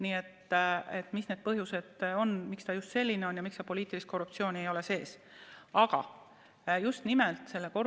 Nii et mis need põhjused on, miks ta just selline on ja miks seal poliitilist korruptsiooni sees ei ole.